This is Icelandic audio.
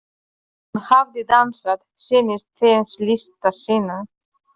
Hún hafði dansað, sýnt þeim list sína.